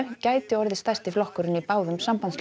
gæti orðið stærsti flokkurinn í báðum